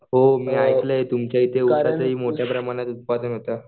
हो मी ऐकलंय तुमच्या इथे उसाचं ही मोठ्या प्रमाणात उत्पादन होतं